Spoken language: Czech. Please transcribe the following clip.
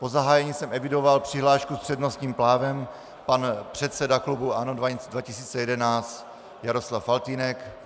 Po zahájení jsem evidoval přihlášku s přednostním právem - pan předseda klubu ANO 2011 Jaroslav Faltýnek.